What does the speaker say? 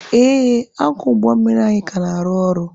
Ee, ankọọ ụgbọ mmiri anyị ka na-arụ ọrụ.